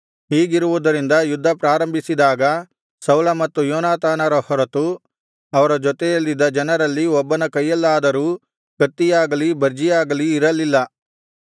ಹೀಗಿರುವುದರಿಂದ ಯುದ್ಧ ಪ್ರಾರಂಭಿಸಿದಾಗ ಸೌಲ ಮತ್ತು ಯೋನಾತಾನರ ಹೊರತು ಅವರ ಜೊತೆಯಲ್ಲಿದ್ದ ಜನರಲ್ಲಿ ಒಬ್ಬನ ಕೈಯಲ್ಲಾದರೂ ಕತ್ತಿಯಾಗಲಿ ಬರ್ಜಿಯಾಗಲಿ ಇರಲಿಲ್ಲ